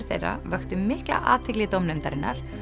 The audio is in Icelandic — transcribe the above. þeirra vöktu mikla athygli dómnefndarinnar